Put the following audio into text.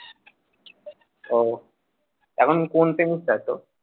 ও এখন কোন semester এ আছ?